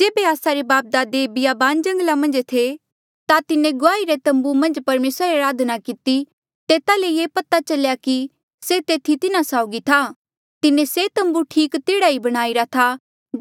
जेबे आस्सा रे बापदादे बियाबान जंगला मन्झ थे ता तिन्हें गुआही रा तम्बू मन्झ परमेसरा री अराधना किती तेता ले ये पता चल्या कि से तेथी तिन्हा साउगी था तिन्हें से तम्बू ठीक तेह्ड़ा ई बणाईरा था